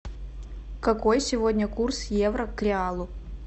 какой сегодня курс евро к реалу